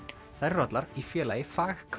þær eru allar í Félagi